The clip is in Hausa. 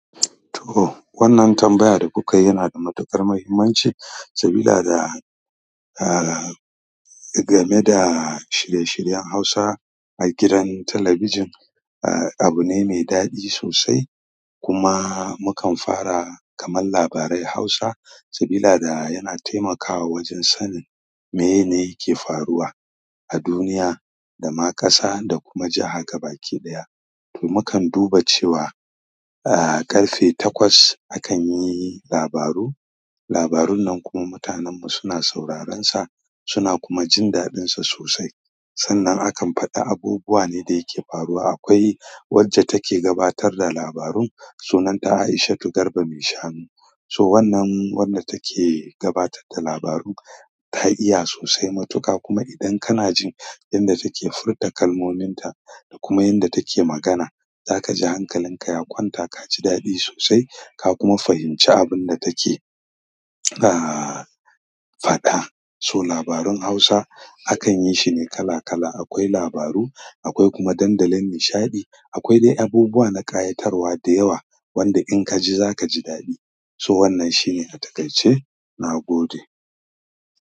To, wannan tambaya da kuka yi yana da matuƙar mahimmanci, sabila da, a game da shirye-shiryen Hausa a gidan talabijin. A, abu ne mai daɗi sosai kuma mukan fara kaman labarai Hausa sabilada yana taimakawa wajen sanin mene yake faruwa a duniya da ma ƙasa da kuma jiha gabaɗaya. To, mukan duba cewa a, ƙarfe takwas akan yi labaru. Labarun nan kuma mutanenmu suna sauraronsa suna kuma jin daɗinsa sosai. Sannan akan faɗa abubuwa ne da yake faruwa. Akwai wacce take gabatar da labarun, sunanta Aishatu Garba mai shanu. So wannan, wanda take gabatar da labaru ta iya sosai matuka kuma idan kana jin yanda take furta kalmominta da kuma yanda take magana, zaka ji hankalinka ya kwanta ka ji daɗi sosai ka kuma fahimci abin da take, a, faɗa. So labarun Hausa akan yi shi ne kala kala. Akwai labaru, akwai kuma dandalin nishaɗi. Akwai dai abubuwa na ƙayatarwa da yawa wanda in ka ji, za ka ji daɗi. So wannan shine a takaice na gode.